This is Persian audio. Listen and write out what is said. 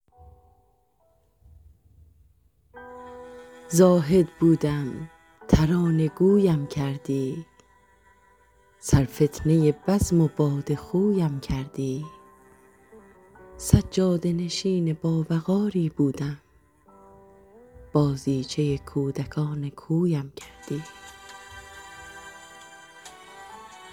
زاهد بودم ترانه گویم کردی سرفتنه بزم و باده خویم کردی سجاده نشین باوقاری بودم بازیچه کودکان کویم کردی